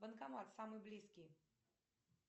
банкомат самый близкий